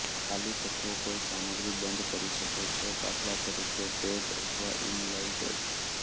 ખાલી તત્વો કોઈ સામગ્રી બંધ કરી શકો છો દાખલા તરીકે ટૅગ અથવા ઇનલાઇન ટેગ